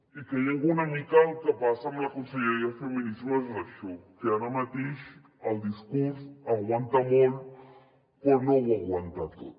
i creiem que una mica el que passa amb la conselleria de feminismes és això que ara mateix el discurs aguanta molt però no ho aguanta tot